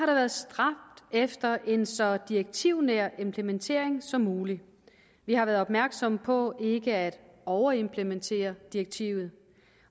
været stræbt efter en så direktivnær implementering som muligt vi har været opmærksom på ikke at overimplementere direktivet